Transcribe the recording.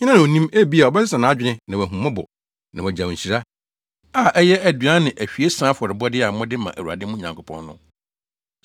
Hena na onim? Ebia ɔbɛsesa nʼadwene na wahu mmɔbɔ na wagyaw nhyira, a ɛyɛ aduan ne ahwiesa afɔrebɔde a mode ma Awurade mo Nyankopɔn no.